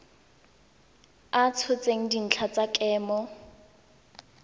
a tshotseng dintlha tsa kemo